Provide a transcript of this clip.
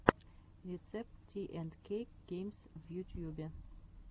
рецепт ти энд кейк геймс в ютьюбе